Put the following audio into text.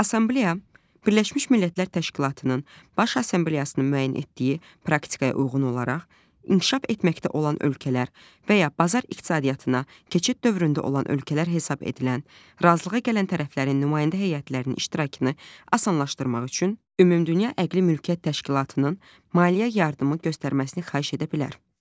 Assambleya Birləşmiş Millətlər Təşkilatının Baş Assambleyasının müəyyən etdiyi praktikaya uyğun olaraq inkişaf etməkdə olan ölkələr və ya bazar iqtisadiyyatına keçid dövründə olan ölkələr hesab edilən, razılığa gələn tərəflərin nümayəndə heyətlərinin iştirakını asanlaşdırmaq üçün Ümumdünya Əqli Mülkiyyət Təşkilatının maliyyə yardımı göstərməsini xahiş edə bilər.